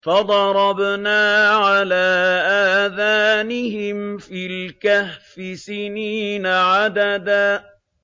فَضَرَبْنَا عَلَىٰ آذَانِهِمْ فِي الْكَهْفِ سِنِينَ عَدَدًا